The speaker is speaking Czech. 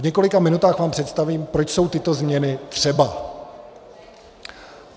V několika minutách vám představím, proč jsou tyto změny třeba.